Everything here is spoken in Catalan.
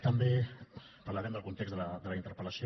també parlarem del context de la interpel·lació